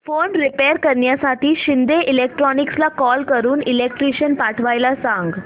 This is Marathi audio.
फॅन रिपेयर करण्यासाठी शिंदे इलेक्ट्रॉनिक्सला कॉल करून इलेक्ट्रिशियन पाठवायला सांग